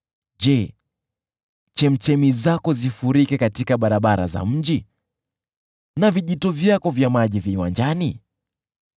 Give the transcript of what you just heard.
Je, chemchemi zako zifurike katika barabara za mji na vijito vyako vya maji viwanjani?